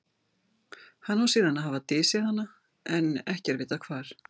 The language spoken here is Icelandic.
hann á síðan að hafa dysjað hana en ekki er vitað hvar